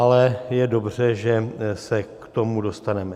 Ale je dobře, že se k tomu dostaneme.